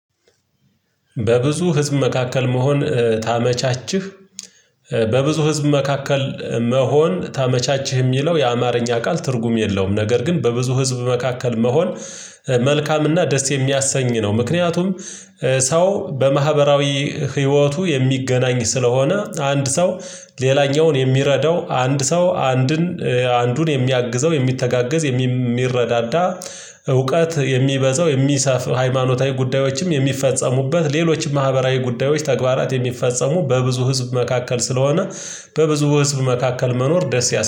በብዙ ህዝብ መካከል መሆን ታመቻችህ። በብዙ ህዝብ መካከል መሆን ታመቻችህ የሚለው የአማርኛ ቃል ትርጉም የለውም ነገር ግን በብዙ ህዝብ መካከል መሆን መልካም ደስ የሚያሰኝ ነው። ምክንያቱም ሰው በማህበራዊ ህይወቱ የሚገናኝ ስለሆነ አንድ ሰው ሌላኛውን የሚረዳው አንድ ሰው አንድን አንዱን የሚያግዘው የሚተጋገዝ የሚረዳዳ እውቀት የሚበዛው የሚሰፍ ሃይማኖታዊ ጉዳዮችም የሚፈጸሙበት ሌሎችም ማህበራዊ ጉዳዮች ተግባራት የሚፈጸሙ በብዙ ህዝብ መካከል ስለሆነ በብዙ ህዝብ መካከል መኖር ደስ ያሰኛል